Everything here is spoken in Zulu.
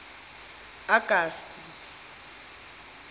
agasti